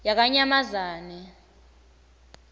yakanyamazane